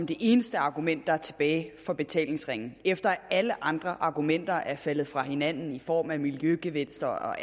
det eneste argument der er tilbage for betalingsringen efter at alle andre argumenter er faldet fra hinanden i form af miljøgevinster og